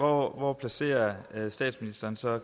hvor placerer statsministeren så